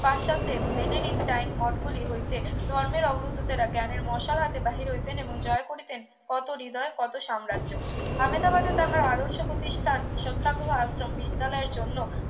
পাশ্চাতে Benedictine মঠগুলি হইতে ধর্মের অগ্রগতি তারা জ্ঞানের মশাল হাতে বাহির হইতেন এবং জয় করিতেন কত হৃদয় কত সাম্রাজ্য আমেদাবাদে তাহার আদর্শ প্রতিষ্ঠান সত্যাগ্রহ আশ্রম বিদ্যালয়ের জন্য